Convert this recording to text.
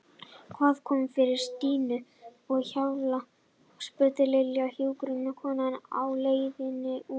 Hvað kom fyrir Stínu á Hjalla? spurði Lilla hjúkrunarkonuna á leiðinni út.